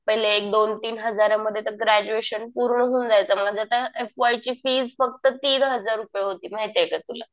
पहिले एक दोन तीन हजारांमध्ये तर ग्रॅज्युएशन पूर्ण होऊन जायचं. माझं तर एफ.वाय ची फीस फक्त तीन हजार रुपये होती. माहितीये का तुला.